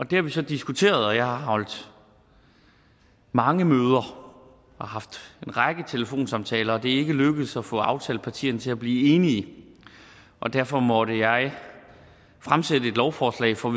det har vi så diskuteret og jeg har holdt mange møder og haft en række telefonsamtaler og det er ikke lykkedes at få aftalepartierne til at blive enige og derfor måtte jeg fremsætte lovforslag for